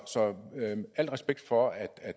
så al respekt for at